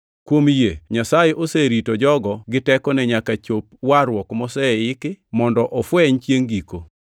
Kuom yie Nyasaye oserito jogo gi tekone nyaka chop warruok moseiki mondo ofweny chiengʼ giko.